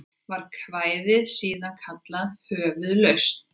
Var kvæðið síðan kallað Höfuðlausn.